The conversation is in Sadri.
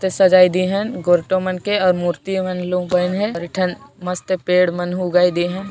मस्त सजाय दे हन गोर्टो मन के और मुर्ति मन सजाइन आहाय और एठन मस्त पेड़ मन हों उगाय दे हे |